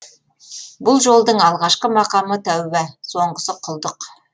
бұл жолдың алғашқы мақамы тәуба соңғысы құлдық